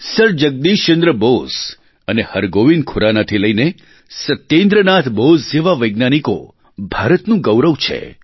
sir Jagdish Chandra Bose અને હરગોવિંદ ખુરાનાથી લઇને સત્યેન્દ્રનાથ બોઝ જેવા વૈજ્ઞાનિકો ભારતનું ગૌરવ છે